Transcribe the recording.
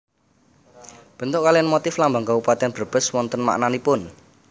Bentuk kaliyan motif lambang Kabupatèn Brebes wonten maknanipun